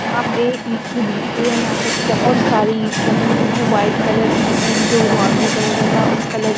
यहां पे ईंट की भट्टी है यहां पे बहुत सारी ईंट रखी हुई है वाइट कलर की एंड जो नॉर्मल कलर रहता है उस कलर में--